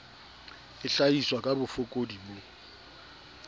e hlahiswa ka bofokodi bo